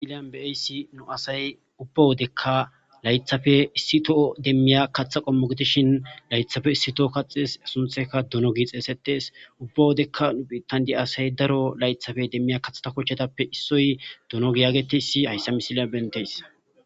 ilyan beaysi nu asay ubba wodekka laythafe issi too demmiya katha qommogetishin laythafe issi toho kaxes suntheka duno gi xeesetes ubba wodekka nu phitandi asay daro laythafe demmiya kathata kochetappe issoy duno giyaageteysi hayssa misilya benteys